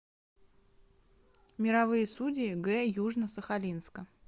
мировые судьи г южно сахалинска